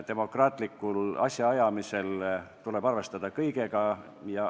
Demokraatlikul asjaajamisel tuleb arvestada kõigega.